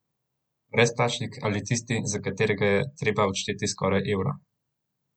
Brezplačnik ali tisti, za katerega je treba odšteti skoraj evro?